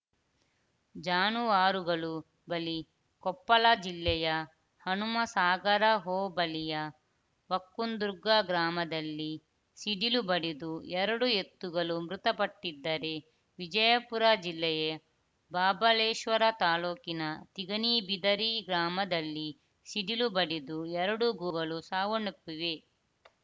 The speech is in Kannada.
ಜಾನುವಾರುಗಳು ಬಲಿ ಕೊಪ್ಪಲ ಜಿಲ್ಲೆಯ ಹನುಮಸಾಗರ ಹೋಬಳಿಯ ವಕ್ಕಂದುರ್ಗಾ ಗ್ರಾಮದಲ್ಲಿ ಸಿಡಿಲು ಬಡಿದು ಎರಡು ಎತ್ತುಗಲು ಮೃತಪಟ್ಟಿದ್ದರೆ ವಿಜಯಪುರ ಜಿಲ್ಲೆಯ ಬಾಬಲೇಶ್ವರ ತಾಲೂಕಿನ ತಿಗಣಿಬಿದರಿ ಗ್ರಾಮದಲ್ಲಿ ಸಿಡಿಲು ಬಡಿದು ಎರಡು ಗೋಗಳು ಸಾವನ್ನಪ್ಪಿವೆ